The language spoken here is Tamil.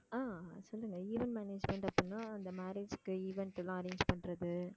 ஆஹ் சொல்லுங்க event management அப்படினா அந்த marriage க்கு event எல்லாம் arrange பண்றது